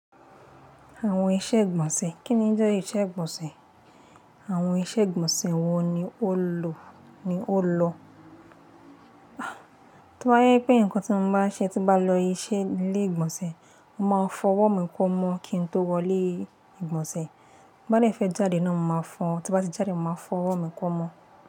Àwọn iṣẹ́ ìgbọ̀nsẹ̀. Kí ni njẹ́ ìṣe ìgbọ̀nsẹ̀? Àwọn iṣẹ́ ìgbọ̀nsẹ̀ wo ni ó lò-- ni ó lọ? Tí ó bá jẹ́ pé nǹkan tí mo má nṣe tí n bá lọ se ilé ìgbọ̀nsẹ̀, mo máa fọwọ́ mi kó mọ́ kí n tó wọlé ìgbọ̀nsẹ̀. Bí mo bá fẹ́ jáde náà mo máa fo, tí n bá ti jáde mo máa fọwọ́ mi kó mọ́